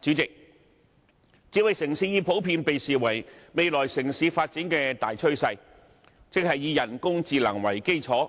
主席，智慧城市已普遍被視為未來城市發展的大趨勢，即以人工智能為基礎，